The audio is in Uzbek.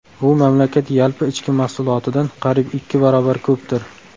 Bu mamlakat yalpi ichki mahsulotidan qariyb ikki barobar ko‘pdir.